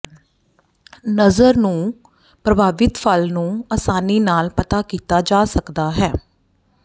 ਨਜ਼ਰ ਨੂੰ ਪ੍ਰਭਾਵਿਤ ਫਲ ਨੂੰ ਆਸਾਨੀ ਨਾਲ ਪਤਾ ਕੀਤਾ ਜਾ ਸਕਦਾ ਹੈ